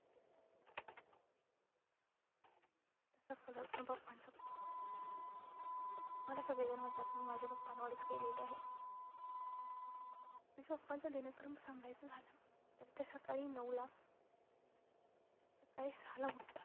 तसा स्वभाव पण papa चां खूप छान आहे, मला सगळे जण म्हणतात मी माझ्या papa वरच गेलेले आहे. माझ्या papa चा दिनक्रम सांगायचा झालं तर ते सकाळी नऊ ला सकाळी सहा ला उठतात.